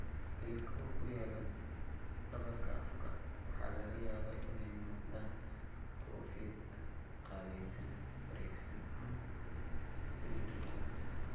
Ilkaha ku yaal dhabarka afka waxaa laga yaabaa inay noqdaan koofiyad qaabaysan, wareegsan, ama cylindrical.